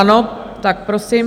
Ano, tak prosím.